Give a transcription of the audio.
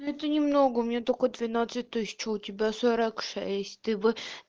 ну это немного у меня только двенадцать тысяч а у тебя сорок шесть ты бы